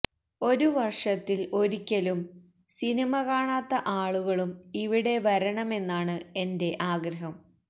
ഒരു വര്ഷത്തില് ഒരിക്കലും സിനിമ കാണാത്ത ആളുകളും ഇവിടെ വരണമെന്നാണ് എന്റെ ആഗ്രഹം